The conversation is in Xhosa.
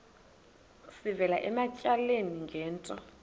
sivela ematyaleni ngento